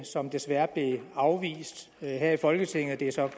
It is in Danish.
som desværre blev afvist her i folketinget det er så